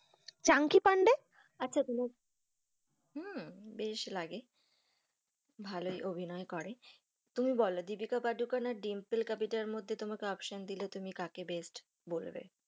Chunky Pandey আচ্ছা হম বেশ লাগে, ভালোই অভিনয় করে তুমি বলো দীপিকা পাড়ুকোন আর ডিম্পল কপাডিয়ার মধ্যে তোমাকে option দিলে তুমি কাকে best বলবে?